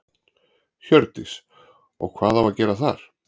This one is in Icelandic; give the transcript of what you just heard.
Hjördís: Og hvað á að gera þar?